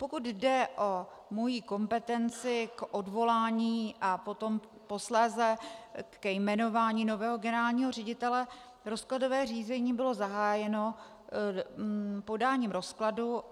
Pokud jde o moji kompetenci k odvolání a potom posléze ke jmenování nového generálního ředitele, rozkladové řízení bylo zahájeno podáním rozkladu.